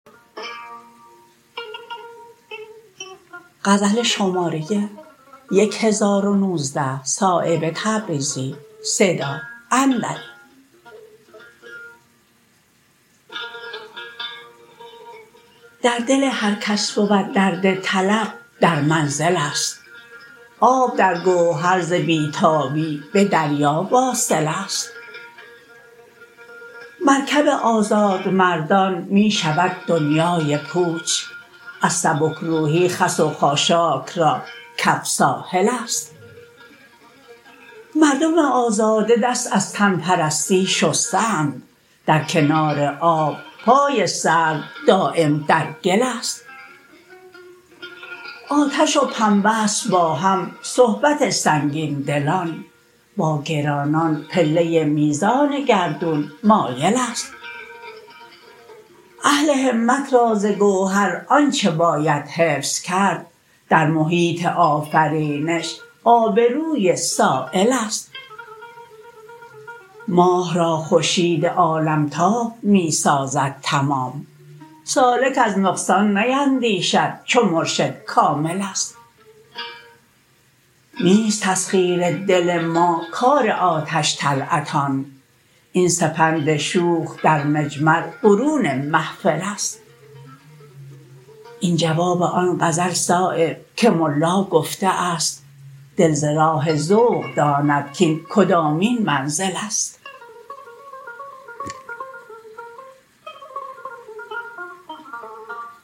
در دل هر کس بود درد طلب در منزل است آب در گوهر ز بی تابی به دریا واصل است مرکب آزاد مردان می شود دنیای پوچ از سبکروحی خس و خاشاک را کف ساحل است مردم آزاده دست از تن پرستی شسته اند در کنار آب پای سرو دایم در گل است آتش و پنبه است با هم صحبت سنگین دلان با گرانان پله میزان گردون مایل است اهل همت را ز گوهر آنچه باید حفظ کرد در محیط آفرینش آبروی سایل است ماه را خورشید عالمتاب می سازد تمام سالک از نقصان نیندیشد چو مرشد کامل است نیست تسخیر دل ما کار آتش طلعتان این سپند شوخ در مجمر برون محفل است این جواب آن غزل صایب که ملا گفته است دل ز راه ذوق داند کاین کدامین منزل است